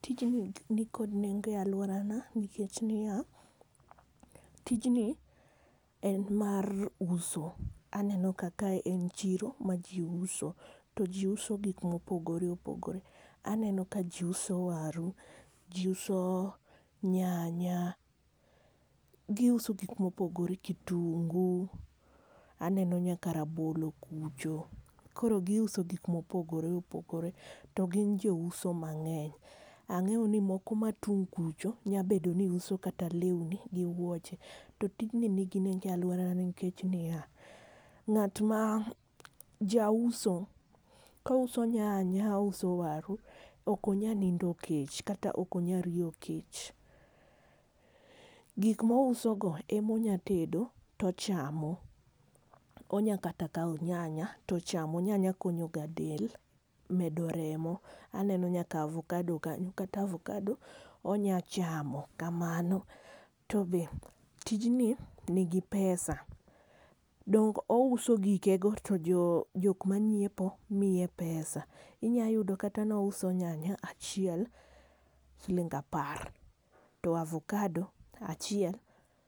Tijni nikod nengo e alworana nikech niya, tijni en mar uso. Aneno ka kae en chiro ma ji uso. To jiuso gik ma opogore opogore. Aneno ka jiuso waru, ji uso nyanya, giuso gik mopogore kitungu, aneno nyaka rabolo kucho. Koro giuso gik ma opogore opogore. To gin jouso mang'eny. Ang'eyo ni moko mating' kucho, nyalo bedo ni uso kata lewni gi wuoche. To tijni nigi nengo e alworana nikech niya, ng'at ma jauso, kouso nyanya, ouso waru, ok onyal nindo kech, kata ok onyal riyo kech. Gik ma ouso go ema onyalo tedo to ochamo. Onyalo kata kawo nyanya to ochamo, nyanya konyo ga del medo remo. Aneno nyaka avokado kanyo, kata avokado onyalo chamo kamano. To be tijni nigi pesa, donge ouso gike go to jok manyiepo miye pesa. Inyayudo kata ni ouso nyanya achiel siling apar. To avokado achiel